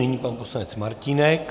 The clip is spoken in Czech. Nyní pan poslanec Martínek.